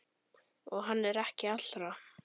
Og hann er ekki allra.